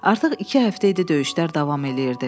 Artıq iki həftə idi döyüşlər davam eləyirdi.